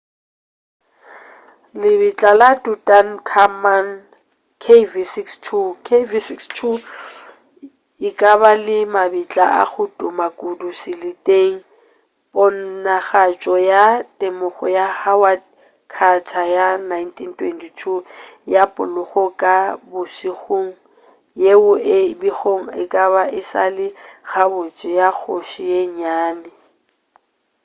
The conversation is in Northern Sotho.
lebitla la tutankhamun kv62. kv62 e ka ba e le mabitla a go tuma kudu seleteng ponagatšo ya temogo ya howard carter ya 1922 ya poloko ya ka bogošing yeo e bego e ka ba e sa le gabotse ya kgoši ye nnyane